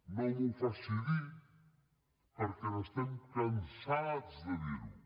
no m’ho faci dir perquè n’estem cansats de dir ho